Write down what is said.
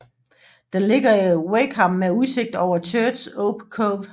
Den ligger i Wakeham med udsigt over Church Ope Cove